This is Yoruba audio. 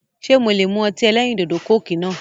Ṣe mo lè mú ọtí ẹlẹ́rìndòdò "Coke" náà